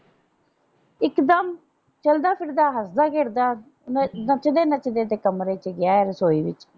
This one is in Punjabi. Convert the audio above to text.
ਇਕਦਮ ਚਲਦਾ ਫਿਰਦਾ ਹੱਸਦਾ ਖੇਡ ਦਾ ਨੱਚਦੇ ਨੱਚਦੇ ਤੇ ਕਮਰੇ ਚ ਗਿਆ ਏ ਰਸੋਈ ਵਿੱਚ।